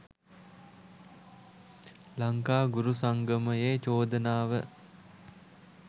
ලංකා ගුරු සංගමයේ චෝදනාව.